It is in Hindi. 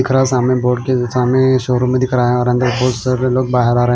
दिख रहा सामने बोर्ड के सामने शोरूम मे दिख रहा है और अंदर बहोत सारे लोग बाहर आ र--